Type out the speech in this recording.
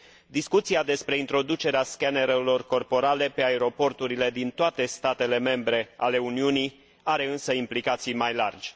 Discuția despre introducerea scanerelor corporale pe aeroporturile din toate statele membre ale Uniunii are, însă, implicații mai largi.